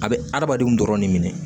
A bɛ adamadenw dɔrɔn de minɛ